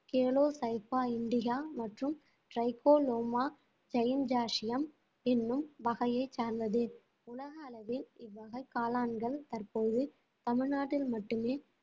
கேலோஸைபா இண்டிகா மற்றும் ட்ரைகோலோமா என்னும் வகையை சார்ந்தது உலக அளவில் இவ்வகை காளான்கள் தற்போது தமிழ்நாட்டில் மட்டுமே